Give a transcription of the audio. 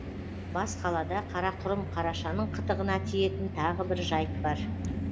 бас қалада қарақұрым қарашаның қытығына тиетін тағы бір жайт бар